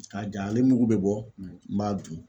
K'a ja, ale mugu bɛ bɔ n b'a dun.